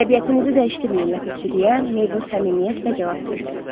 Təbiətinizi dəyişdirməyin, Ləpirçi deyə Meybel səmimiyyətlə cavab verdi.